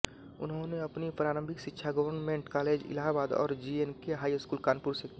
उन्होंने अपनी प्रारंभिक शिक्षा गवर्नमेंट कॉलेज इलाहाबाद और जीएनके हाई स्कूल कानपुर से की